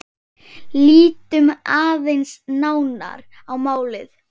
Lítum aðeins nánar á málið.